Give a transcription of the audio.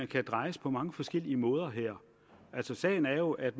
kan drejes på mange forskellige måder her sagen er jo at